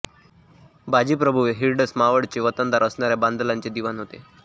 बाजी प्रभू हे हिरडस मावळचे वतनदार असणाऱ्या बांदलांचे दिवाण होते